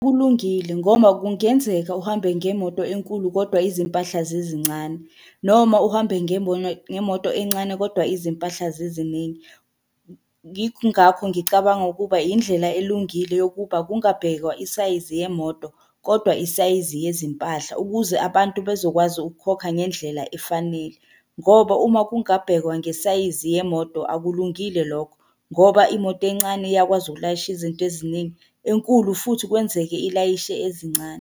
Kulungile ngoba kungenzeka uhambe ngemoto enkulu, kodwa izimpahla zizincane, noma uhambe ngemoto encane kodwa izimpahla ziziningi. Yingakho ngicabanga ukuba yindlela elungile yokuba kungabhekwa isayizi yemoto, kodwa isayizi yezimpahla ukuze abantu bezokwazi ukukhokha ngendlela efanele, ngoba uma kungabhekwa ngesayizi yemoto akulungile lokho, ngoba imoto encane iyakwazi ukulayisha izinto eziningi, enkulu futhi kwenzeke ilayishe ezincane.